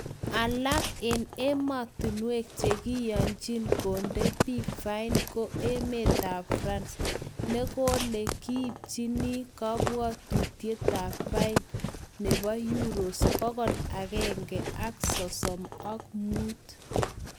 Alak en emotinwek che kiywechin konde bik fain ko emetab France nekole kiipchini kokwoutyetab fain nebo Euros bokol agenge sosom ak mut